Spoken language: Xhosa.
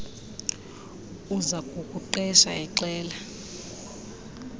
uza kukuqesha exela